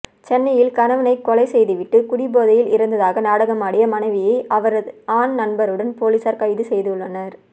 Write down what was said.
சென்னையில் கணவனை கொலை செய்து விட்டு குடிபோதையில் இறந்ததாக நாடகமாடிய மனைவியை அவரது ஆண் நண்பருடன் போலீசார் கைது செய்துள்ளனர்